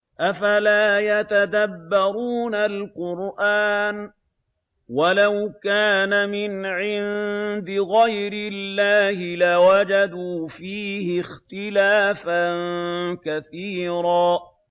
أَفَلَا يَتَدَبَّرُونَ الْقُرْآنَ ۚ وَلَوْ كَانَ مِنْ عِندِ غَيْرِ اللَّهِ لَوَجَدُوا فِيهِ اخْتِلَافًا كَثِيرًا